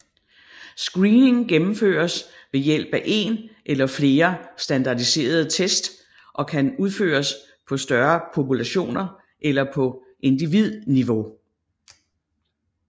Screening gennemføres ved hjælp af en eller flere standardiserede test og kan udføres på større populationer eller på individniveau